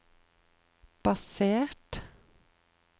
basert